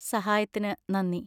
സഹായത്തിന് നന്ദി.